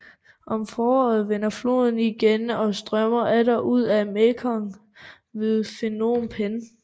Om foråret vender floden igen og strømmer atter ud i Mekong ved Phnom Penh